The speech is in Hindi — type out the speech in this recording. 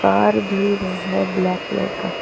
बाहर भी है ब्लैक कलर का।